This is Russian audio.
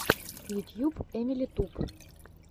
ютьюб эмили туб